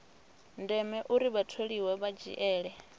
ndeme uri vhatholiwa vha dzhiele